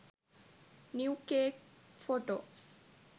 new cake photos